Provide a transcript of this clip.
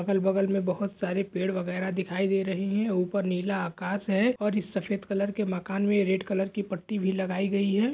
अगल बगल मे बहुत सारे पेड़ वगैरा दिखाई दे रहे है और नीला आकाश है इस सफेद कलर के मकान मे रेड कलर की पट्टी भी लगाई गई है।